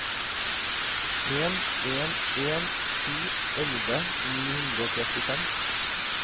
en en en sju elleve ni hundre og trettifem